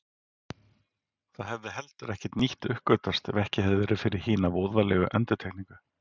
Það hefði heldur ekkert nýtt uppgötvast ef ekki hefði verið fyrir hina voðalegu endurtekningu.